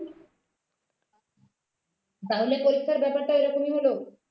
তাহলে পরীক্ষার ব্যাপারটা এরকমই হলো